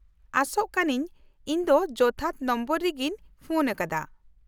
-ᱟᱥᱚᱜ ᱠᱟᱹᱱᱟᱹᱧ ᱤᱧ ᱫᱚ ᱡᱚᱛᱷᱟᱛ ᱱᱚᱢᱵᱚᱨ ᱨᱮᱜᱤᱧ ᱯᱷᱳᱱ ᱟᱠᱟᱫᱟ ᱾